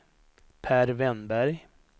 Pär Wennberg